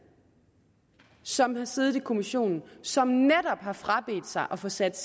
som har siddet i kommissionen som netop har frabedt sig at få sat